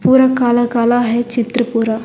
पूरा काला काला है चित्र पूरा।